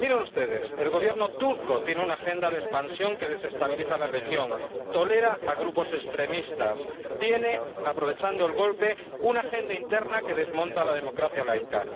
Miren ustedes, el Gobierno turco tiene una agenda de expansión que desestabiliza la región, tolera a grupos extremistas, tiene —aprovechando el golpe— una agenda interna que desmonta la democracia laica.